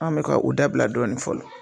anw m bɛ ka, dabila dɔɔnin fɔlɔ